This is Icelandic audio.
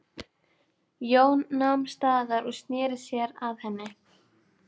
Jón nam staðar og sneri sér að henni.